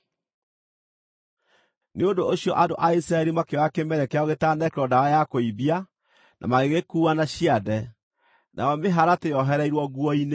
Nĩ ũndũ ũcio andũ a Isiraeli makĩoya kĩmere kĩao gĩtanekĩrwo ndawa ya kũimbia, na magĩgĩkuua na ciande, nayo mĩharatĩ yoohereirwo nguo-inĩ.